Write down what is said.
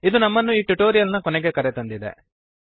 ಇದು ನಮ್ಮನ್ನು ಈ ಟ್ಯುಟೋರಿಯಲ್ ನ ಕೊನೆಗೆ ಕರೆತಂದಿದೆ